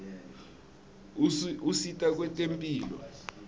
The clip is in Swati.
usita kwetemphilo